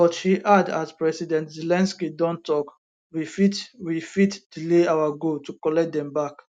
but she add as president zelensky don tok we fit we fit delay our goal to collect dem back